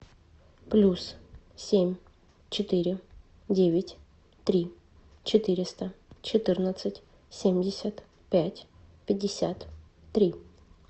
плюс семь четыре девять три четыреста четырнадцать семьдесят пять пятьдесят три